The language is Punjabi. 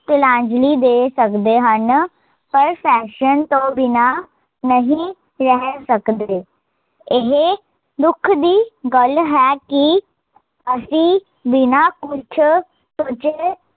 ਦੇ ਸਕਦੇ ਹਨ ਪਰ ਤੋਂ ਬਿਨਾਂ ਨਹੀਂ ਰਹਿ ਸਕਦੇ ਇਹ, ਦੁਖ ਦੀ ਗੱਲ ਹੈ ਕੀ ਅਸੀਂ, ਬਿਨਾਂ ਕੁਸ਼ ਸੋਚੇ